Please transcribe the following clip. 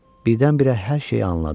Birdən-birə hər şeyi anladı.